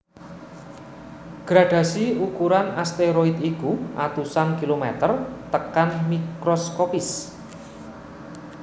Gradhasi ukuran asteroid iku atusan kilomèter tekan mikroskopis